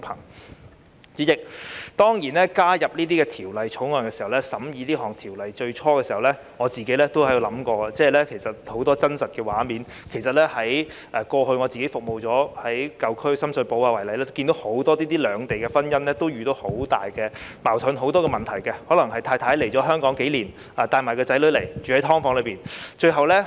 代理主席，我當初加入法案委員會時，在審議《條例草案》之初，我也想起很多家庭的真實情況，例如以我過往服務的舊區深水埗區為例，我看到很多涉及兩地婚姻的夫婦遇到很多矛盾和問題，例如太太可能來港數年，帶同年幼子女居於"劏房"。